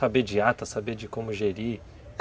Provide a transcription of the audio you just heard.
Saber de ata, saber de como gerir?